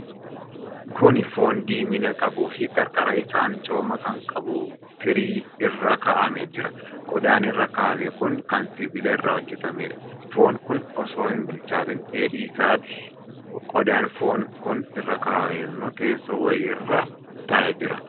Kuni foon diimina qabuufi qarqara isaan cooma kan qabu tirii irra kaa'amee jira. Qodaan irra kaa'ame kun kan sibiila irraa hojjatameedha. Foon kun osoo hin bilchaatiin, dheedhii isaati. Qodaan foon kun irra kaawwame ammoo teesso wayii irra taa'ee jira.